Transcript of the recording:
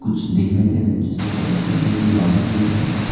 कुछ दिखाई दे रहा जिससे पता चल रहा है कि ये बारिश गिर रहा --